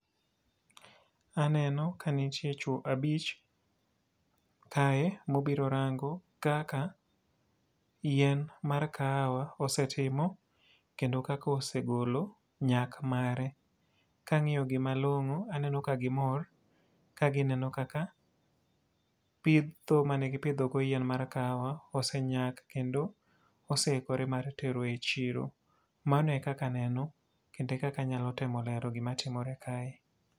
Aneno ka nitie chwo abich kae ma obiro rango kaka yien mar kahawa osetimo kendo kaka osegolo nyak mare. Ka angíyo gi malongó, aneno ka gimor, kagineno kaka pitho mane gipidho go yien mar kahawa osenyak kendo oseikore mar tero e chiro. Mano e kaka aneno, kendo e kaka anyalo temo lero gima timore kae.